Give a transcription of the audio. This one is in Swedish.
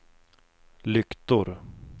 lyktor